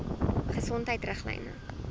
gesondheidriglyne